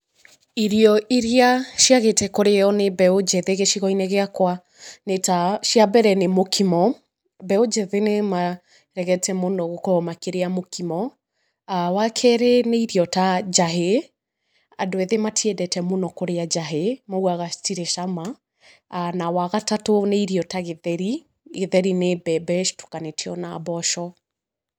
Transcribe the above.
Irio iria ciagĩte kũrĩo nĩ mbeũ njĩthĩ gĩcigo-inĩ gĩakwa nĩ ta, cia mbere nĩ mũkimo, mbeũ njĩthĩ nĩ maregete mũno gũkorwo makĩrĩa mũkimo. Wa kerĩ nĩ iro ta njahĩ, andũ ethĩ matiendete mũno kũrĩa njahĩ maugaga citirĩ cama. Na wa gatatũ nĩ irio ta gĩtheri, gĩtheri nĩ mbembe citukanĩtio na mboco.